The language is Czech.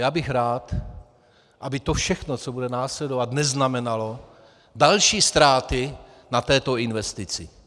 Já bych rád, aby to všechno, co bude následovat, neznamenalo další ztráty na této investici.